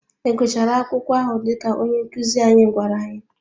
Ị gụchara akwụkwọ ahụ dịka onye nkuzi anyị gwara anyị?